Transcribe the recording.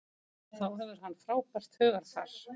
Þá hefur hann frábært hugarfar.